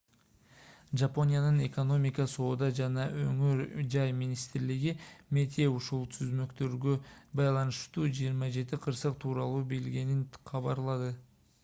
жапониянын экономика соода жана өнөр жай министрлиги meti ушул түзмөктөргө байланыштуу 27 кырсык тууралуу билгенин кабарлады